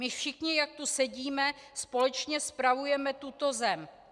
My všichni, jak tu sedíme, společně spravujeme tuto zem.